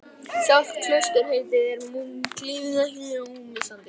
Sjálft klausturheitið er munklífinu ekki ómissandi.